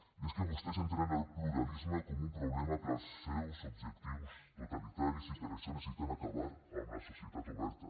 i és que vostès entenen el pluralisme com un problema per als seus objectius totalitaris i per això necessiten acabar amb la societat oberta